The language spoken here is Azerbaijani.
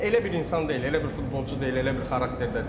Elə bir insan deyil, elə bir futbolçu deyil, elə bir xarakterdə deyil.